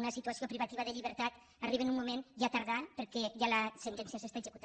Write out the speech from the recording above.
una situació privativa de llibertat arriben en un moment ja tardà perquè ja la sentència s’executa